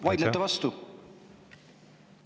Vaidlete vastu?